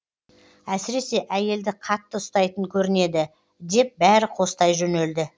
әсіресе әйелді қатты ұстайтын көрінеді деп бәрі қостай жөнелді